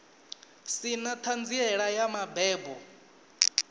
si na ṱhanziela ya mabebo